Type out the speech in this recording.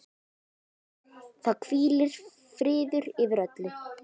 Það hvílir friður yfir öllu.